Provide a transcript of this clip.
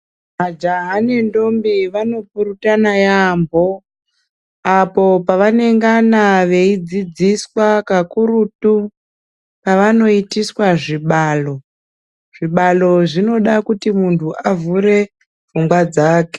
Majaha nentombi vanopurutana yambo apo pavanongana veidzidziswa kakurutu pavanoitiswa zvibalo, zvibalo zvinoda kuti muntu avhure pfungwa dzake.